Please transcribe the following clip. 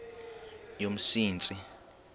yomsintsi